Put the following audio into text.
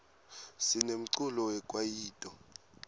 sinemculo we kwayito